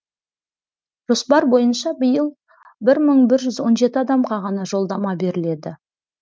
жоспар бойынша биыл бір мың бір жүз он жеті адамға ғана жолдама беріледі